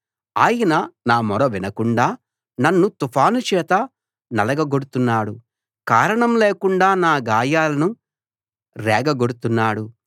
ఆయన నా మొర వినకుండా నన్ను తుఫాను చేత నలగగొడుతున్నాడు కారణం లేకుండా నా గాయాలను రేగగొడుతున్నాడు